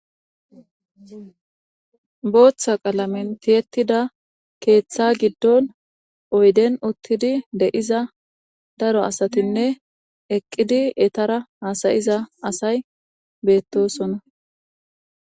Booththa qalamen tiyettida keeththa giddon oyden uttidi de7iza daro asatinne eqqidi etara hasayiza asay beettosonna.